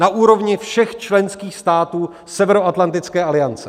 Na úrovni všech členských států Severoatlantické aliance.